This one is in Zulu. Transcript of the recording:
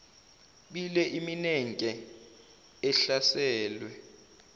bile iminenke ehlaselwe